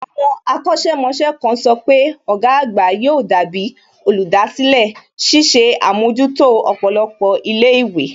Àwọn akọ̀sẹ̀ mọṣẹ́ kan sọ pé ọ̀gá àgbà yóò dàbí olùdásílẹ̀, ṣiṣẹ́ àmójútó ọ̀pọ̀lọpọ̀ ilé ìwé